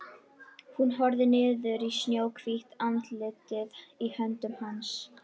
Hún horfir niður í snjóhvítt andlitið í höndum hans.